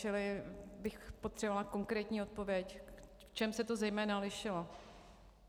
Čili bych potřebovala konkrétní odpověď, v čem se to zejména lišilo.